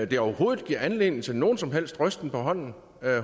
det overhovedet giver anledning til nogen som helst rysten på hånden